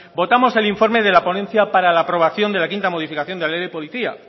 votamos el informe de la ponencia para la aprobación de la quinta modificación de la ley de policía